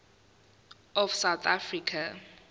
of south africa